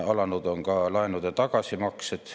Alanud on ka laenude tagasimaksed.